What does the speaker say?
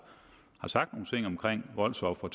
sagt at voldsofre